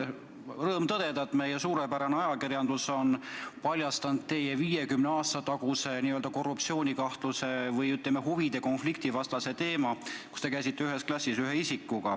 Mul on rõõm tõdeda, et meie suurepärane ajakirjandus on paljastanud teie 50 aasta taguse n-ö korruptsioonikahtluse või, ütleme, huvide konflikti teema, kui te käisite ühe isikuga ühes klassis.